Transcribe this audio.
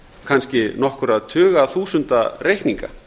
kannski nokkurra tuga þúsunda reikninga